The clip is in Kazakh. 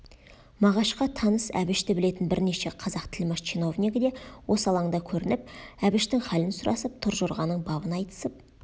мағашқа таныс әбішті білетін бірнеше қазақ тілмаш чиновнигі де осы алаңда көрініп әбіштің халін сұрасып торжорғаның бабын айтысып